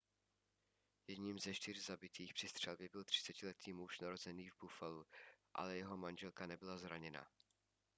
jedním ze čtyř zabitých při střelbě byl 30letý muž narozený v buffalu ale jeho manželka nebyla zraněna